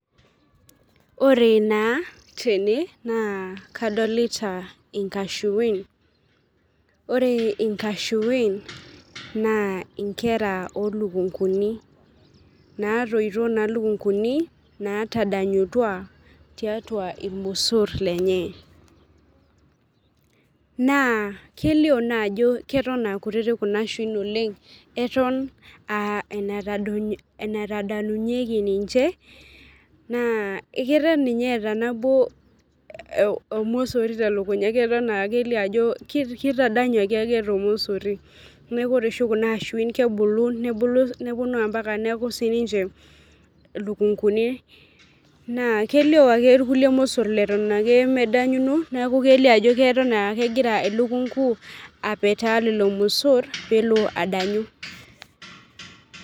Ore naa tene, naa kadolita inkashuin, ore nkashuin naa nkera oo lukunkuni, naatoito naa lukunkuni naatadanyutua tiatua ilmosor lenye. Naa kelio naa ajo Eton aa kutitik Kuna ashuin oleng, eton aa enatadotinyeki, ninche. naa keton ni ye eeta nabo olmosori, telukunya kelio ajo ketadanyuaki ake, ele mosori, neeku ore oshi Kuna ashuin kebulu, nepuonu ampaka neeku sii ninche ilikunkuni, naa kelio ake ilmosor leton ake medanyuno neeku, kelio ajo keton aa kegira elukunku apetaa lelo mosor peelo adanyu.